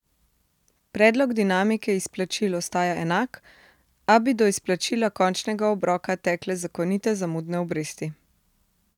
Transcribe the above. Predlog dinamike izplačil ostaja enak, a bi do izplačila končnega obroka tekle zakonite zamudne obresti.